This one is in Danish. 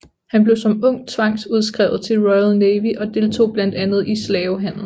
Han blev som ung tvangsudskrevet til Royal Navy og deltog blandt andet i slavehandel